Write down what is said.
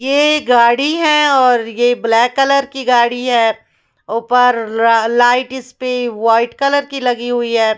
ये गाड़ी हैं और ये ब्लैक कलर की गाड़ी है ऊपर ला लाइट इसपे वाइट कलर की लगी हुई है।